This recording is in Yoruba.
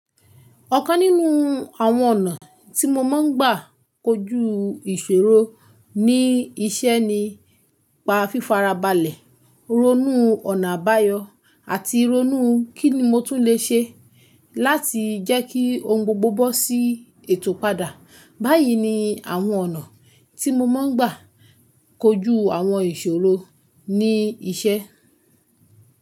Ọ̀kan nínú àwọn ọ̀nà tí mo máa ń gbà kọjú ìṣòro ní iṣẹ́ ni pa fífara balẹ̀, ronú ọ̀nà àbáyọ, àti ronú kí ni mo tún lè ṣe láti jẹ́ kí ohun gbogbo bọ́ sí ètò padà. Báyìí ni àwọn ọ̀nà tí mo máa ń gbà kọjú àwọn ìṣòro ní iṣẹ́.